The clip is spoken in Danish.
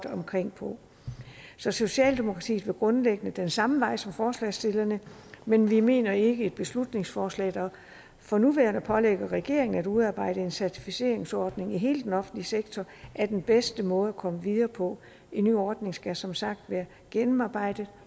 omkring så socialdemokratiet vil grundlæggende den samme vej som forslagsstillerne men vi mener ikke et beslutningsforslag der for nuværende pålægger regeringen at udarbejde en certificeringsordning i hele den offentlige sektor er den bedste måde at komme videre på en ny ordning skal som sagt være gennemarbejdet